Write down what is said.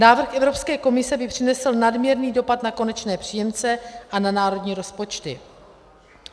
Návrh Evropské komise by přinesl nadměrný dopad na konečné příjemce a na národní rozpočty.